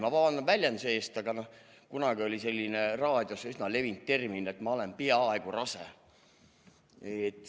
Ma vabandan väljenduse eest, aga kunagi oli raadios üsna kasutatud ütlemine, et ma olen "peaaegu rase".